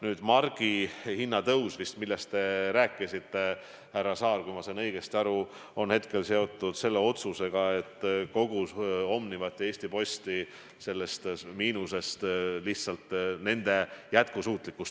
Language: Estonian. Nüüd, margi hinna tõus, millest te vist rääkisite, härra Saar, kui ma õigesti aru saan, on seotud otsusega vähendada Omniva ja Eesti Posti miinust, lihtsalt tagada nende jätkusuutlikkus.